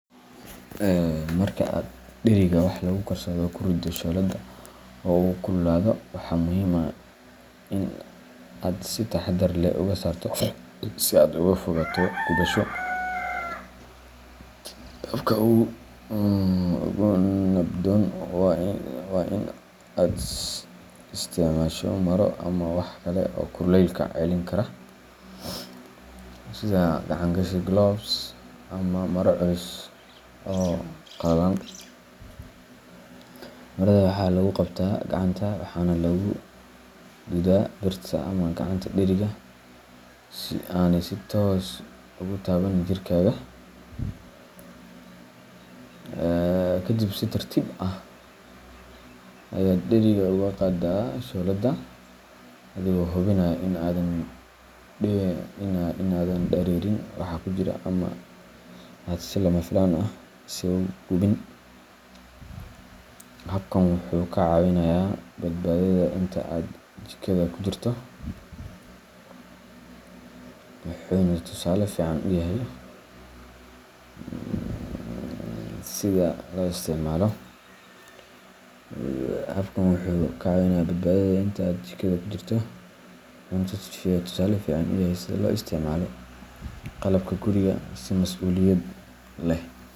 Marka aad dheriga wax lagu karsado ku riddo shooladda oo uu kululaado, waxaa muhiim ah in aad si taxaddar leh uga saarto si aad uga fogaato gubasho. Habka ugu nabdoon waa in aad isticmaasho maro ama wax kale oo kulaylka celin kara sida gacan-gashi gloves ama maro culus oo qalalan. Marada waxaa lagu qabtaa gacanta waxaana lagu duudaa birta ama gacanta dheriga, si aanay si toos ah ugu taaban jirkaaga. Kadib, si tartiib ah ayaad dheriga uga qaadaa shooladda, adigoo hubinaya in aadan dareerin waxa ku jira ama aad si lama filaan ah isugu gubin. Habkan wuxuu kaa caawinayaa badbaadadaada inta aad jikada ku jirto, wuxuuna tusaale fiican u yahay sida loo isticmaalo qalabka guriga si masuuliyad leh.